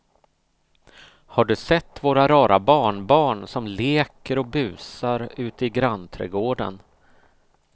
Har du sett våra rara barnbarn som leker och busar ute i grannträdgården!